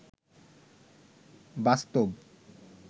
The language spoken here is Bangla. বাস্তব